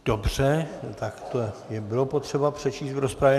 Dobře, tak to bylo potřeba přečíst v rozpravě.